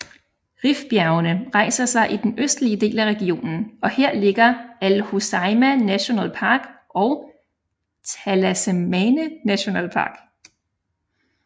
Rifbjergene rejser sig i den østlige del af regionen og her ligger Al Hoceima National Park og Talassemtane National Park